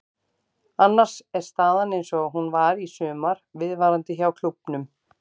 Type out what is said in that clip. Annars er staðan eins og hún var í sumar viðvarandi hjá klúbbnum.